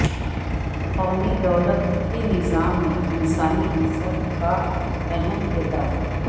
قومی دولت کے نظام میں انسانی عنصر کا اہم کردار